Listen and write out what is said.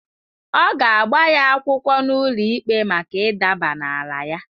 Ọ ga-agba ya akwụkwọ n’ụlọikpe maka ịdaba n’ala ya.